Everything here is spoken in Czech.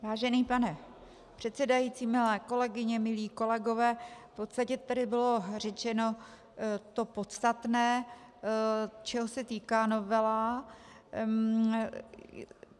Vážený pane předsedající, milé kolegyně, milí kolegové, v podstatě tady bylo řečeno to podstatné, čeho se týká novela.